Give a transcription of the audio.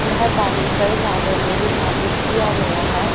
यह पानी कोई भागों में विभाजित किया गया है।